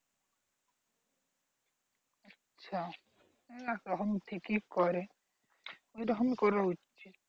আচ্ছা একরকম ঠিকই করে রকমই করা উচিত